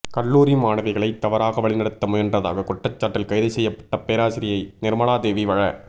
கல்லூரி மாணவிகளை தவறாக வழிநடத்த முயன்றதான குற்றச்சாட்டில் கைது செய்யப்பட்ட பேராசிரியை நிர்மலாதேவி வழ